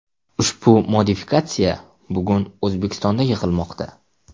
Ushbu modifikatsiya bugun O‘zbekistonda yig‘ilmoqda.